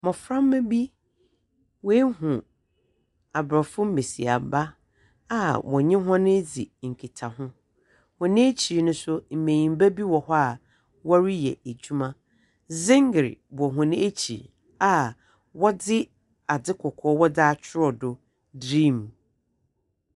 Mboframba bi, woehu Aborɔfo mbasiamba a wɔnye hɔn ridzi nkitaho. Hɔn ekyir no so mbanyimba bi wɔ hɔ a wɔreyɛ edwuma. Dzember wɔ hɔn ekyir a wɔdze adze kɔkɔɔ wɔdze akyerɛw do dream.